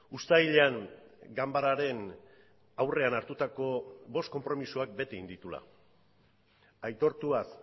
uztailean ganbararen aurrean hartutako bost konpromisoak bete egin dituela aitortuaz